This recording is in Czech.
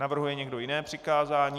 Navrhuje někdo jiné přikázání?